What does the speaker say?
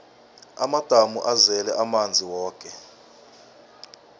amadamu azele amanzi woke